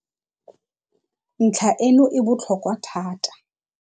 Ntlha e no e botlhokwa thata.